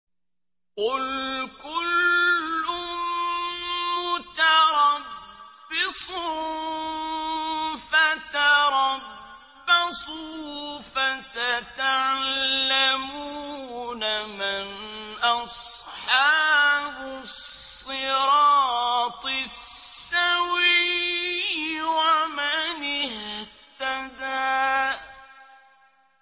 قُلْ كُلٌّ مُّتَرَبِّصٌ فَتَرَبَّصُوا ۖ فَسَتَعْلَمُونَ مَنْ أَصْحَابُ الصِّرَاطِ السَّوِيِّ وَمَنِ اهْتَدَىٰ